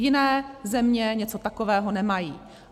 Jiné země něco takového nemají.